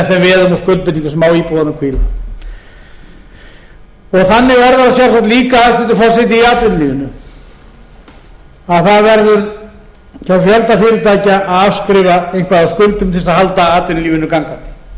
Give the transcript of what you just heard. veðum og skuldbindingum sem á íbúðunum hvíla þannig er það sjálfsagt líka hæstvirtur forseti í atvinnulífinu að það verður hjá fjölda fyrirtækja að afskrifa eitthvað af skuldum til þess að halda atvinnulífinu gangandi ef ég